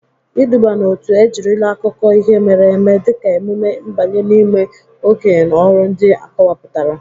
Iduba n'otu ejirila akụkọ ihe mere eme dịka emume mbanye n'ime okenye na ọrụ ndị akọwapụtara.